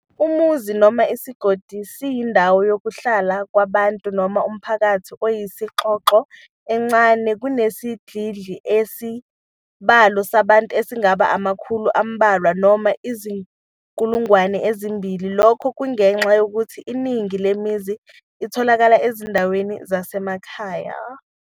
UMuzi noma isigodi siyindawo yokuhlala kwabantu noma umphakathi oyisixhoxho, encane kunesidlidli, enesibalo sabantu esingaba amakhulu ambalwa noma izinkulungwane ezimbili, lokhu kungenxa yokuthi Iningi lemizi itholakala ezindaweni zasemakhaya.